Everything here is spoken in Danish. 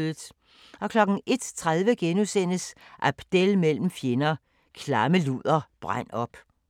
01:30: Abdel mellem fjender – "Klamme luder, brænd op" (Afs. 7)*